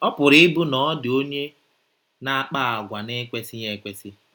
Ọ pụrụ ịbụ na ọ dị onye na - akpa àgwà na - ekwesịghị ekwesị.